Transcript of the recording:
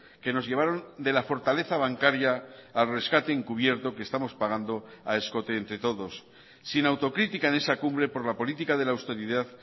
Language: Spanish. que nos llevaron de la fortaleza bancaria al rescate encubierto que estamos pagando a escote entre todos sin autocrítica de esa cumbre por la política de la austeridad